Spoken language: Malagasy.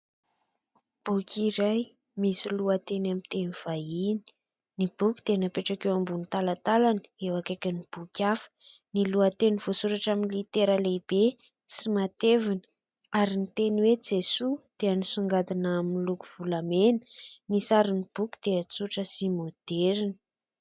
Boky iray misy lohateny amin'ny teny vahiny, ny boky dia napetraka eo ambony talatalana eo akaikin'ny boky hafa, ny lohateny voasoratra amin'ny litera lehibe sy matevina ary ny teny hoe "Jesoa" dia misongadina amin'ny loko volamena, ny sarin'ny boky dia tsotra sy maoderina.